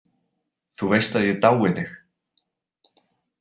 Þú veist að ég dái þig.